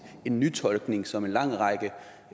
nytolkning som en lang række